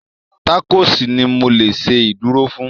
Tákòòsì ni mo lè ṣe ìdúró fún